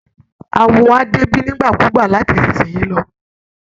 Awo á débí nígbàkúùgbà láti ìsinsìnyí lọ